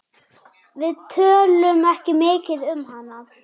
Við tölum ekki mikið um hana.